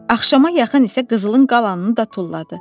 Axşama yaxın isə qızılın qalanını da tulladı.